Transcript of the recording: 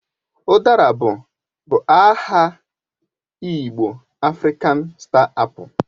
Udara bụ bụ aha igbo Afrịkan Star Apu